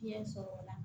Fiɲɛ sɔrɔ o la